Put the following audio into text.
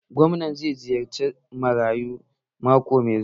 Gwamnan zai ziyarci gidan marayu mako mai zuwa